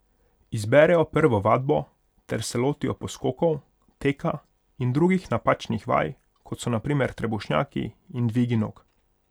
Izberejo prvo vadbo ter se lotijo poskokov, teka in drugih napačnih vaj, kot so na primer trebušnjaki in dvigi nog.